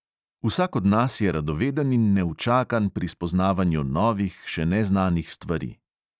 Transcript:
Vsak od nas je radoveden in neučakan pri spoznavanju novih, še neznanih stvari.